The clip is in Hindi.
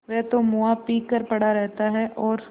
वह तो मुआ पी कर पड़ा रहता है और